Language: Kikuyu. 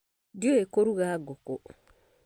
Ndiũĩ kũruga ngũkũ